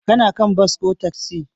Ka kan bas ko taksi?